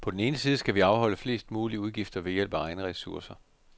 På den ene side skal vi afholde flest mulige udgifter ved hjælp af egne ressourcer.